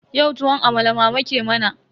Yau tuwon amala mama ke mana.